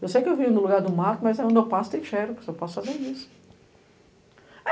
Eu sei que eu vim num lugar do mato, mas onde eu passo tem xerox, eu posso fazer isso.